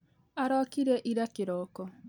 Arokire ira kĩroko